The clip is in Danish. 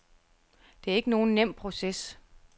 Det er ikke nogen nem proces.